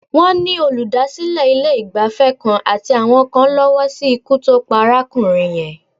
Wọ́n ni olùdásílẹ̀ ilé-ìgbafẹ́ kan àti àwọn kan lọ́wọ́ sí ikú tó pa arákùnrin yẹn.